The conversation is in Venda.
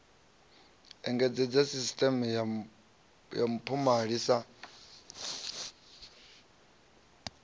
engedzedza sisiṱeme ya mpomali sa